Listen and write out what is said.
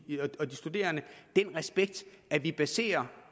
studerende den respekt at vi baserer